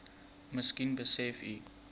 miskien besef u